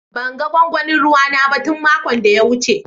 Ban gan gwangwanin ruwa na ba tun makon da ya wuce.